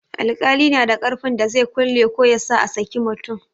Alƙali na da ƙarfin da zai kulle ko yasa a saki mutum.